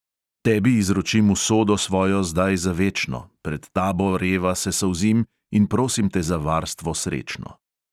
Tebi izročim usodo svojo zdaj za večno, pred tabo reva se solzim in prosim te za varstvo srečno.